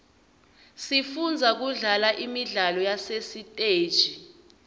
sifundza kudlala imidlalo yasesiteji